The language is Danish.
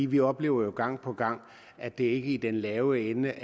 vi oplever jo gang på gang at det ikke er i den lave ende